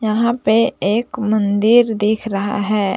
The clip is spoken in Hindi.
यहां पे एक मंदिर दिख रहा है।